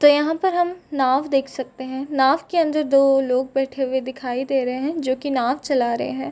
तो यहाँ पर हम नाव देख सकते हैं। नाव के अन्दर दो लोग बैठे हुए दिखाई दे रहे हैं जो की नाव चला रहे हैं।